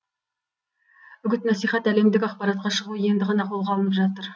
үгіт насихат әлемдік ақпаратқа шығу енді ғана қолға алынып жатыр